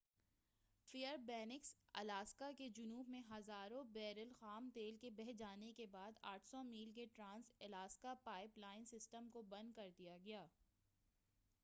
فیر banks Alaska کے جنوب میں ہزاروں بیرل خام تیل کے بہہ جانے کے بعد 800 میل کے trans Alaska pipeline system کو بند کر دیا گیا